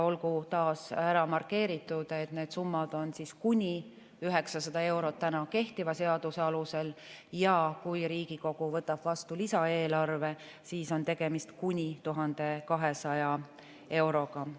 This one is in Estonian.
Olgu taas ära markeeritud, et need summad on kuni 900 eurot kehtiva seaduse alusel ja kui Riigikogu võtab vastu lisaeelarve, siis on tegemist kuni 1200 euroga.